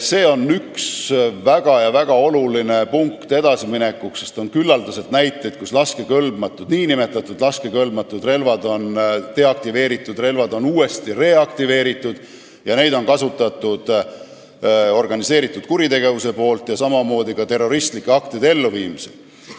See on üks väga-väga oluline punkt, sest on küllaldaselt näiteid selle kohta, et nn laskekõlbmatud, deaktiveeritud relvad on reaktiveeritud ja neid on kasutatud organiseeritud kuritegevuse puhul ja samamoodi terroristlike aktide elluviimisel.